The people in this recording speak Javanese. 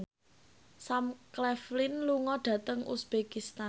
Sam Claflin lunga dhateng uzbekistan